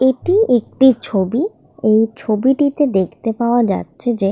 এটি একটি ছবি। এই ছবিটিতে দেখতে পাওয়া যাচ্ছে যে--